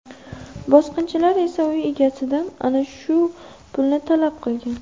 Bosqinchilar esa uy egasidan ana shu pulni talab qilgan.